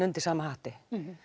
undir sama hatti